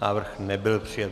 Návrh nebyl přijat.